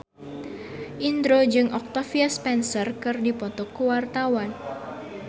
Indro jeung Octavia Spencer keur dipoto ku wartawan